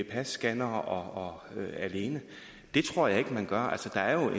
af passcannere alene det tror jeg ikke man gør altså der er jo